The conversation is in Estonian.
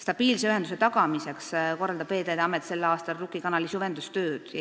Stabiilse ühenduse tagamiseks korraldab Veeteede Amet sel aastal Rukki kanali süvendustööd.